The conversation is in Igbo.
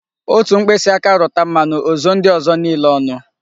Otu mkpịsị aka rụta mmanụ, o zuo ndị ọzọ nile ọnụ.